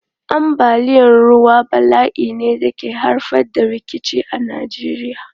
Ambaliyar ruwa bala'i ne da ke haifar da rikici a Najeriya.